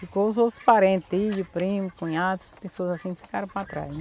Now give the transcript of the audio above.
Ficou os outros parentes, tio, primo, cunhado, essas pessoas assim ficaram para trás, né?